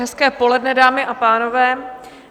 Hezké poledne, dámy a pánové.